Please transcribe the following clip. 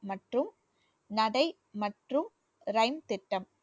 மற்றும் நடை மற்றும் திட்டம்